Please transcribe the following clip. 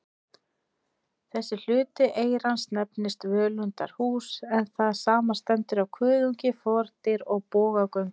Þessi hluti eyrans nefnist völundarhús, en það samanstendur af kuðungi, fordyri og bogagöngum.